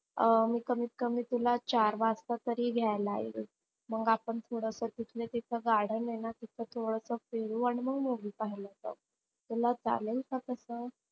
अं मी कमीत कमी तुला चार वाजता तरी घ्यायला येईल. मग आपण पुढ तिथ garden आहेना तिथ थोडस फिरू आणि मग movie पाहायला जाऊ तुला चालेल का तस?